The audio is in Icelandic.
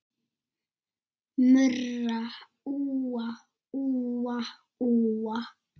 Murra úa, úa, úa.